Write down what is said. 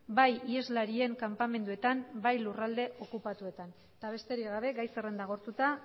bai iheslarien kanpamenduetan bai lurralde okupatuetan eta besterik gabe gai zerrenda agortuta